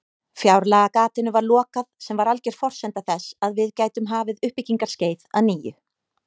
Fjárlagagatinu var lokað sem var alger forsenda þess að við gætum hafið uppbyggingarskeið að nýju.